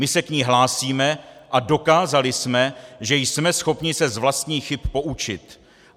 My se k ní hlásíme a dokázali jsme, že jsme schopni se z vlastních chyb poučit.